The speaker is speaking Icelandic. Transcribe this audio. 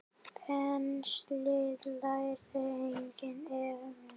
Penslið lærið einnig með olíu.